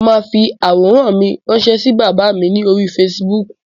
Mo máa fi àwòrán mi rànṣẹ́ sí bàbá mi ní orí Facebook.